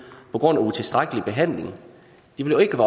på grund af utilstrækkelig behandling de vil ikke